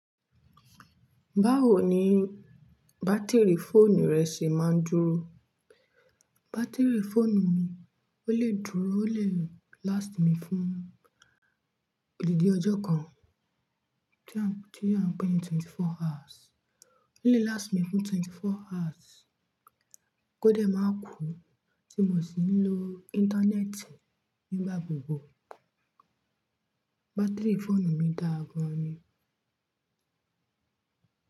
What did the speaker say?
Báwo ni bátìrì fóònù rẹ ṣe máa ń dúró? Bátìrì fóònù mi, ó lè dúró, ó lè last mi fún òdìdì ọjọ́ kan, tí a ń pè ní twenty four hours. Ó lè last mi fún twenty four hours. Kódé máa kú, tí mo sì ń lo íńtánẹ́ẹ̀tì nígbà gbogbo. Bátìrì fóònù mi dára gan ni.